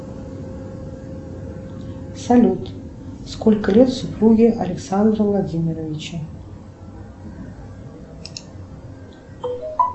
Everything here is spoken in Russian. салют сколько лет супруге александра владимировича